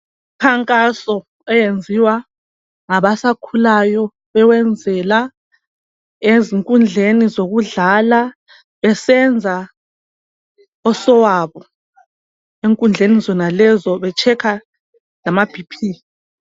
Imikhankaso eyenziwa ngabasakhulayo bewenzela ezinkundleni zokudlala besenza osowabo. Enkundleni zenalezo behlola lamaBP.